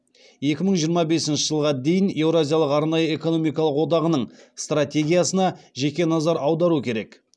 екі мың жиырма бесінші жылға дейін еуразиялық арнайы экономикалық одағының стратегиясына жеке назар аудару керек